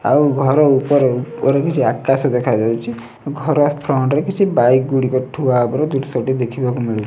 ଆଉ ଘର ଉପରେ ଉପରେ କିଛି ଆକାଶ ଦେଖାଯାଉଛି ଘର ଫ୍ରଣ୍ଟ୍ ରେ କିଛି ବାଇକ୍ ଗୁଡ଼ିକ ଠୁଆ ହେବାର ଦୃଶ୍ୟଟି ଦେଖିବାକୁ ମିଳୁ --